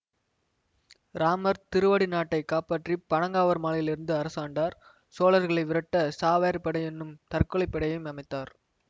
இராமர் திருவடி நாட்டை காப்பாற்றிப் பனங்காவூர் மாளிகையிலிருந்து அரசாண்டார் சோழர்களை விரட்ட சாவேறு படை என்னும் தற்கொலை படையையும் அமைத்தார்